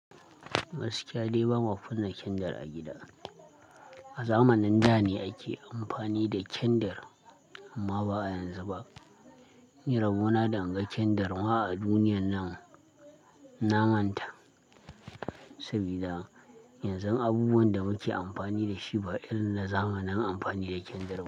Gaskiya dai ba ma zan kunna kendar a gida. A zamanin da ne ake amfani da kendir amma ba yanzu ba. Ni rabo na da in ga kendir ma a duniyan nan, na manta. Sabida yanzun abubuwan da muke amfani da shi ba irinna zamanin amfani da kendir ba.